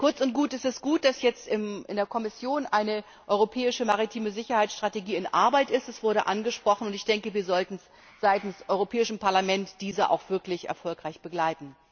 Kurz und gut Es ist gut, dass jetzt in der Kommission eine europäische maritime Sicherheitsstrategie in Arbeit ist es wurde angesprochen und ich denke, wir sollten seitens des Europäischen Parlaments diese auch wirklich erfolgreich begleiten!